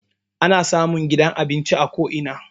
Ana samun gidan abinci a ko ina.